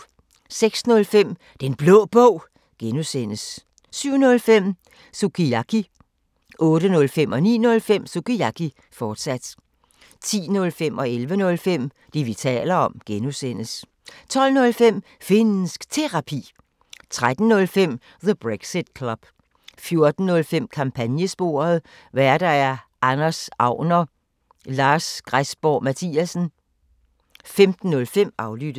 06:05: Den Blå Bog (G) 07:05: Sukiyaki 08:05: Sukiyaki, fortsat 09:05: Sukiyaki, fortsat 10:05: Det, vi taler om (G) 11:05: Det, vi taler om (G) 12:05: Finnsk Terapi 13:05: The Brexit Club 14:05: Kampagnesporet: Værter: Anders Agner, Lars Græsborg Mathiasen 15:05: Aflyttet